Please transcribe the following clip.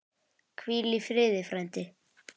Hvíl í friði, frændi.